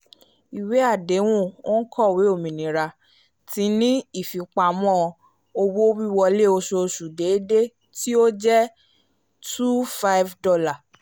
ìwé àdéhùn onkọwe òmìnira ti ni ifipamọ owó-wíwọlé oṣooṣù déédé to jẹ two five dollar